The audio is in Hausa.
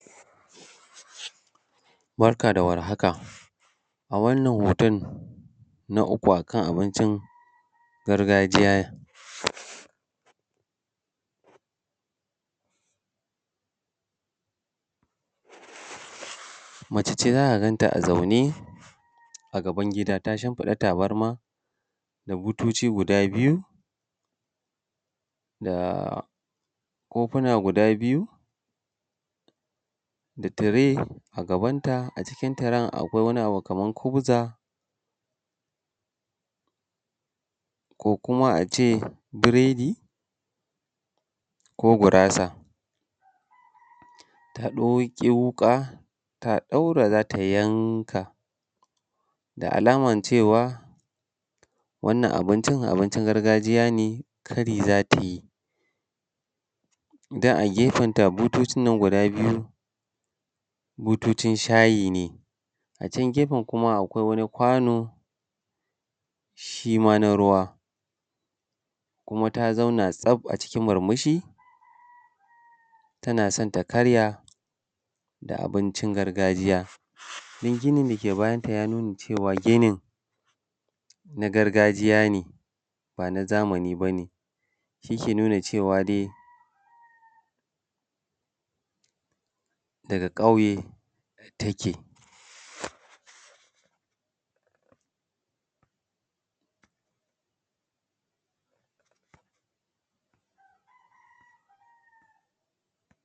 Barka da warhaka a wannan hoton na uku a kan abincin gargajiya, mace ce za ka gan ta a zaune a gaban gida ta shimfiɗa tabarma da butoci guda biyu da kofuna guda biyu da tire a gabanta, a cikin tiren akwai wani abu kaman kubza, ko kuma a ce biredi, ko gurasa ta ɗauki wuka ta ɗaura za ta yanka, da alaman cewa wannan abincin, abincin gargajiya ne kari za ta yi. Don a gefen ta butocin nan guda biyu, butocin shayi ne, a can gefen kuma akwai wani kwano shi ma na ruwa, kuma ta zauna tsaf a cikin murmushi tana son ta karya da abincin gargajiya don ginin dake bayan ta ya nuna cewa ginin na gargajiya ne ba na zamani bane, shi ke nuna cewa dai daga ƙauye take.